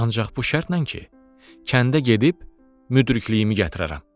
Ancaq bu şərtlə ki, kəndə gedib müdrikliyimi gətirərəm.